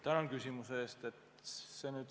Tänan küsimuse eest!